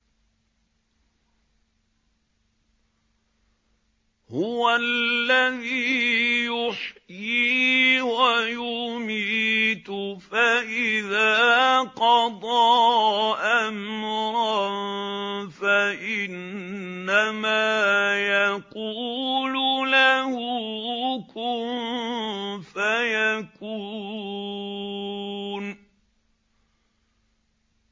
هُوَ الَّذِي يُحْيِي وَيُمِيتُ ۖ فَإِذَا قَضَىٰ أَمْرًا فَإِنَّمَا يَقُولُ لَهُ كُن فَيَكُونُ